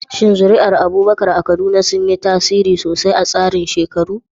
Shin zuri'ar Abubakar a Kaduna sun yi tasiri sosai a tsarin shekaru?